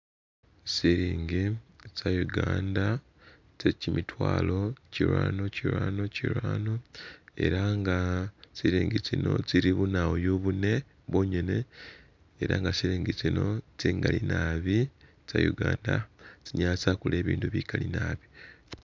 Silingi tsa'uganda tsekyi mitwalo kirano kirano kirano elah nga silingi tsino tsili bunawoyu bune bwongene elah nga silingi tsino tsingali nabi tsa'uganda tsinyala tsakula bibindu bikali naabi